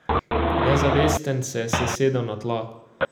Nezavesten se je sesedel na tla.